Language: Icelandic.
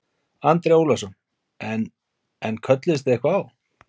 Andri Ólafsson: En, en kölluðust þið eitthvað á?